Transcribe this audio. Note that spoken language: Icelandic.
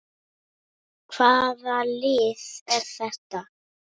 Hvaða lið er þetta?